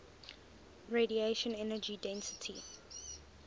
radiation energy density